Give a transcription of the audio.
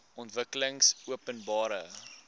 ontwikkelingopenbare